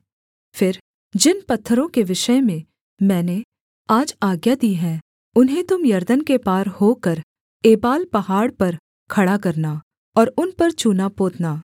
फिर जिन पत्थरों के विषय में मैंने आज आज्ञा दी है उन्हें तुम यरदन के पार होकर एबाल पहाड़ पर खड़ा करना और उन पर चूना पोतना